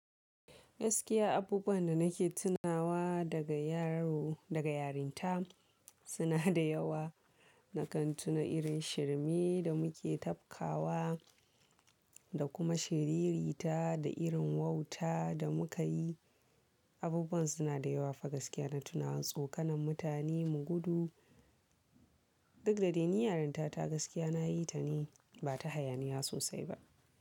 Gaskiya abubuwan da nake tunawa daga yaro daga yarinta suna da yawa. Na kan tuna irin shirme da muke tafkawa da kuma shiriri ta da irin wauta da muka yi. Abubuwan suna da yawa fa gaskiya na tunawa tsokanen mutane mu gudu. Duk da dai ni yarinta ta gaskiya na yi ta ne ba ta haya ni ya sosai ba.